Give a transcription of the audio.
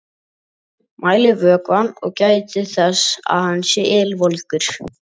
Mælið vökvann og gætið þess að hann sé ylvolgur.